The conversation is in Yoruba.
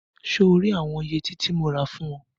So rí àwọn yẹtí tí mo rà fún ọ?